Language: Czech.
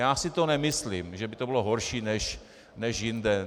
Já si to nemyslím, že by to bylo horší než jinde.